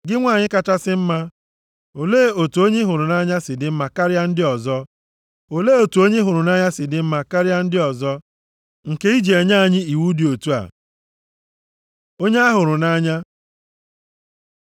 Gị nwanyị kachasị mma, olee otu onye ị hụrụ nʼanya si dị mma karịa ndị ọzọ? Olee otu onye ị hụrụ nʼanya si dị mma karịa ndị ọzọ nke i ji enye anyị iwu dị otu a? Onye a hụrụ nʼanya